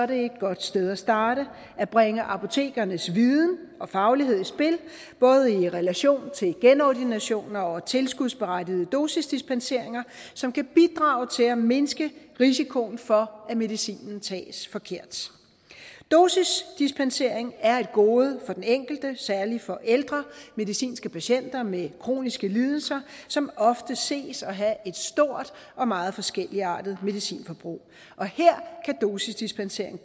det et godt sted at starte at bringe apotekernes viden og faglighed i spil det både i relation til genordinationer og tilskudsberettigede dosisdispenseringer som kan bidrage til at mindske risikoen for at medicinen tages forkert dosisdispensering er et gode for den enkelte særlig for ældre medicinske patienter med kroniske lidelser som ofte ses at have et stort og meget forskelligartet medicinforbrug her kan dosisdispensering